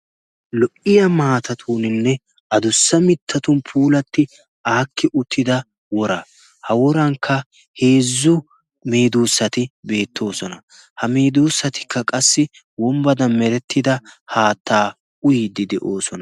lo77iya maatatuuninne adussa mittatun puulatti aakki uttida wora. ha worankka heezzu miduussati beettoosona. ha miiduussatikka qassi wombbadan merettida haattaa uyiiddi de7oosona.